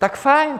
Tak fajn.